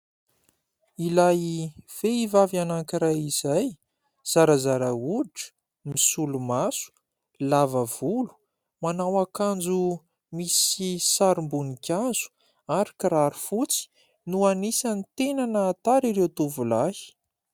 Ilay vehivavy anankiray izay, zarazara hoditra, misolomaso, lava volo, manao akanjo misy sarim-boninkazo ary kiraro fotsy no anisany tena nahatara ireo tovolahy.